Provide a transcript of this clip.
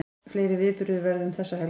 Fleiri viðburðir verða um þessa helgi